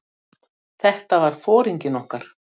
Þetta var foringinn okkar.